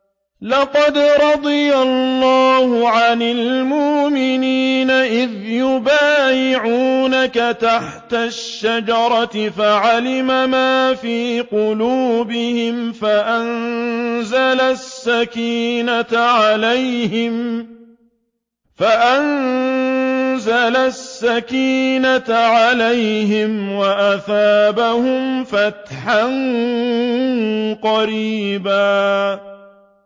۞ لَّقَدْ رَضِيَ اللَّهُ عَنِ الْمُؤْمِنِينَ إِذْ يُبَايِعُونَكَ تَحْتَ الشَّجَرَةِ فَعَلِمَ مَا فِي قُلُوبِهِمْ فَأَنزَلَ السَّكِينَةَ عَلَيْهِمْ وَأَثَابَهُمْ فَتْحًا قَرِيبًا